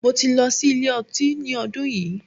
Mo ti lọ sí ilé ọtí ní ọdún yìí.